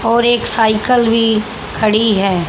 और एक साइकिल भी खड़ी है।